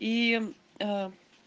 и а